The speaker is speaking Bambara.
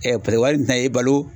ɛ paseke wari in tɛ na e balo